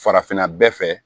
Farafinna bɛɛ fɛ